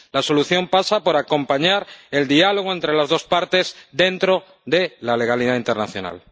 La solución pasa por acompañar el diálogo entre las dos partes dentro de la legalidad internacional.